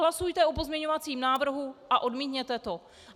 Hlasujte o pozměňovacím návrhu a odmítněte to.